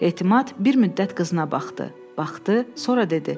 Etimad bir müddət qızına baxdı, baxdı, sonra dedi: